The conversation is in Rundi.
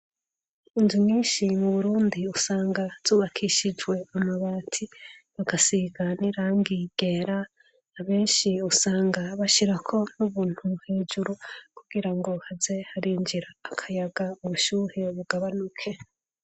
inzu nyinshi mu burundi usanga zubakishijwe amabati bagasiga nirangi ryera abenshi usanga bashirako nk'ubuntu hejuru kugira ngo haze harinjira akayaga ubushuhe bugabanuke